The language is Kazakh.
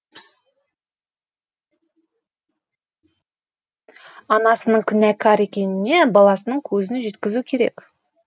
анасының күнәкар екеніне баласының көзін жеткізу керек